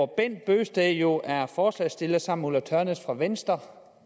bent bøgsted jo er forslagsstiller sammen ulla tørnæs fra venstre